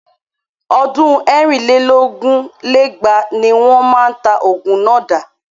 Ọdún ẹ̀rin lé lógún lé lẹ́gbàá ní wọ́n máa ta ogun náà dà.